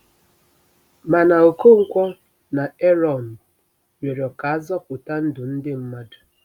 Mana Okonkwo na Erọn rịọrọ ka a zọpụta ndụ ndị mmadụ.